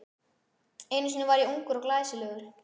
Einu sinni var ég ungur og glæsilegur.